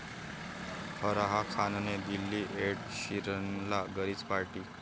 फराह खानने दिली एड शीरनला घरीच पार्टी